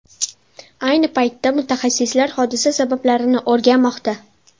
Ayni paytda mutaxassislar hodisa sabablarini o‘rganmoqda.